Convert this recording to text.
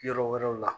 Yɔrɔ wɛrɛw la